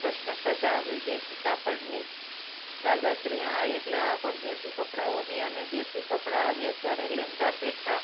પ્રશ્ન કરતા વિદેશી કાપડની દાદાશ્રી હા એટલે આ પરદેશી કપડા ઓની દેશી કપડા આવ્યા ત્યારે લેન્ગા પેઠા